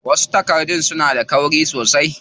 Wasu takardun suna da kauri sosai.